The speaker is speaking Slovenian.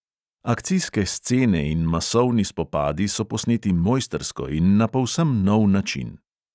Akcijske scene in masovni spopadi so posneti mojstrsko in na povsem nov način.